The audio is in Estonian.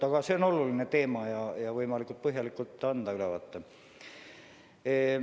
Aga see on oluline teema ja ma üritan anda võimalikult põhjaliku ülevaate.